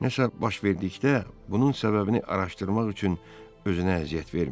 Nəsə baş verdikdə, bunun səbəbini araşdırmaq üçün özünə əziyyət vermirdi.